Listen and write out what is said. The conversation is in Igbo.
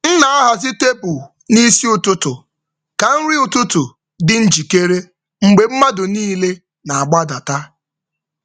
M na-ahazi tebụl n’isi ụtụtụ ka nri ụtụtụ dị njikere mgbe mmadụ niile na-agbadata.